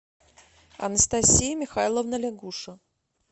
анастасия михайловна лягуше